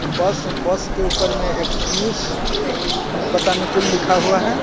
बस बस ऊपर मे एक पियूष बतानेकुल लिखा हुआ है.